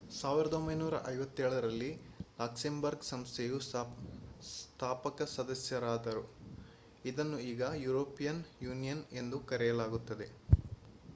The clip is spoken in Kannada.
1957 ರಲ್ಲಿ ಲಕ್ಸೆಂಬರ್ಗ್ ಸಂಸ್ಥೆಯ ಸ್ಥಾಪಕ ಸದಸ್ಯರಾದರು ಇದನ್ನು ಈಗ ಯುರೋಪಿಯನ್ ಯೂನಿಯನ್ ಎಂದು ಕರೆಯಲಾಗುತ್ತದೆ